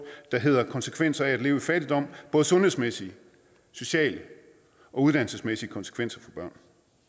der hedder konsekvenser af at leve i fattigdom både sundhedsmæssige sociale og uddannelsesmæssige konsekvenser for børn